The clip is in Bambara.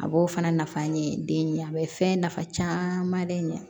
A b'o fana nafa ɲini den ɲɛ a bɛ fɛn nafa caman de ɲɛ